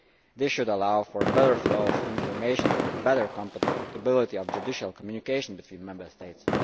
This should allow for a better flow of information and better compatibility of judicial communication between Member States.